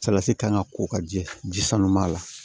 Salati kan ka ko ka jɛ ji sanu b'a la